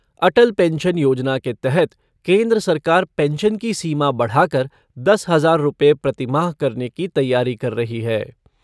अटल pension योजना के तहत केन्द्र सरकार पेंशन की सीमा बढ़ाकर दस हजार रुपये प्रतिमाह करने की तैयारी कर रही है।